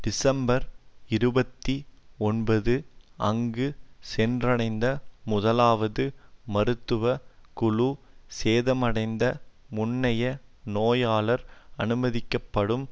December இருபத்தி ஒன்பது அங்கு சென்றடைந்த முதலாவது மருத்துவ குழு சேதமடைந்த முன்னைய நோயாளர் அனுமதிக்கப்படும்